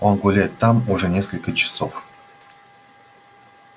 он гуляет там уже несколько часов